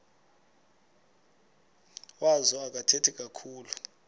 wazo akathethi kakhulu